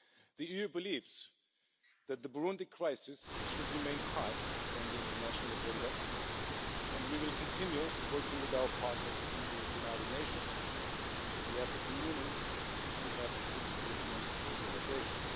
The EU believes that the Burundi crisis should remain high on the international agenda and we will continue to work with our partners in the United Nations, the African Union and African regional organisations.